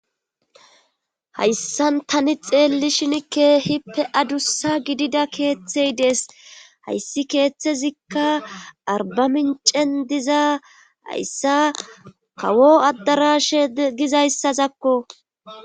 hayssan tani xeelli shinikkehippe adussa gidida keeththey dees hayssi keeththezikka arbamincen diza hayssa kawo addarashe dizayssazakko